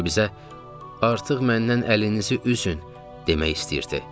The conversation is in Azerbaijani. Sanki bizə artıq məndən əlinizi üzün demək istəyirdi.